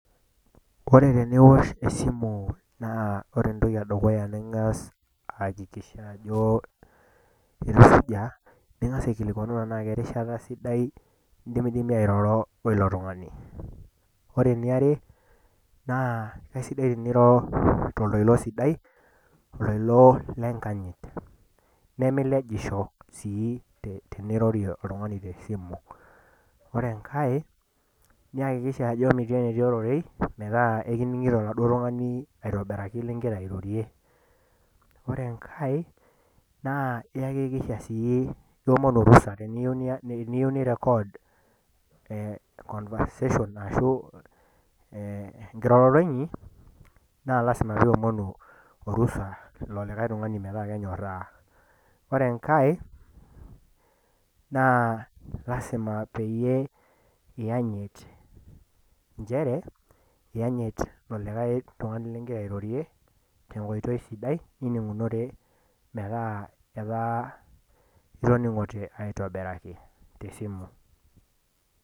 Ore teniwosh esimu naa ore entoki e dukuya ning'as aakikisha ajo akesujaa, ning'as aikilikwanu tanaake erishata sidai niroro wo ilo tung'ani. Ore ene are, naa aisidai teniro toltoilo sidai toltoilo lenkanyit. Nemilejisho sii tenirorie oltung'ani tesimu. Ore enkai, niakikisha ajo metii ororei, metaa ekining'ito oladuo tung'ani lingira airorie aitobiraki ling'ira airorie. Ore enkai, naa iomonu orusa teniyou nirekod, conversation ashu enkiroroto inyi, naa lazima pee iomonu orusa ilo likai tung'ani metaa kenyoraa. Ore enkai naa lsima peyie iyanyit nchere, iyanyit ilo likai tung'ani ling'ira airorie tenkoitoi sidai nining'unore metaa etaa itoning'ote aitobiraki te esimu.